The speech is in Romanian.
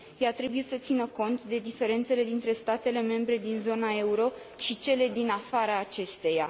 Ea trebuie să țină cont de diferențele dintre statele membre din zona euro și cele din afara acesteia.